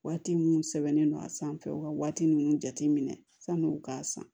Waati minnu sɛbɛnnen don a sanfɛ u ka waati ninnu jateminɛ san'u k'a san